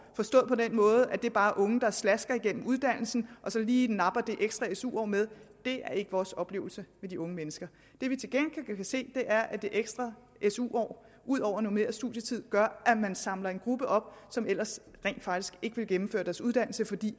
forstået på den måde at det bare er unge der slasker igennem uddannelsen og så lige napper det ekstra su år med det er ikke vores oplevelse af de unge mennesker det vi til gengæld kan se er at det ekstra su år ud over normeret studietid gør at man samler en gruppe op som ellers rent faktisk ikke ville gennemføre deres uddannelse fordi